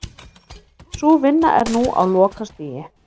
Sú vinna er nú á lokastigi